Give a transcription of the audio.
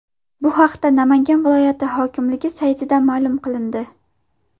Bu haqda Namangan viloyati hokimligi saytida ma’lum qilindi .